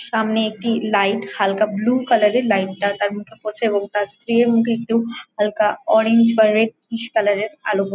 সামনে একটি লাইট হালকা ব্লু কালার -এর লাইট টা তার মুখে পড়ছে | এবং তার স্ত্রী মুখে একটু হালকা অরেঞ্জ কালার এর ক্রিস কালার এর আলো --